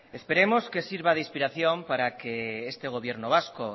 esperemos que sirva de inspiración para que este gobierno vasco